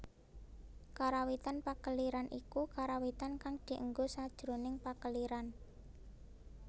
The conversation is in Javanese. Karawitan Pakeliran iku karawitan kang dienggo sajroning pakeliran